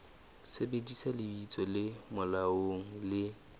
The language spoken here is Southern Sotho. sebedisa lebitso le molaong le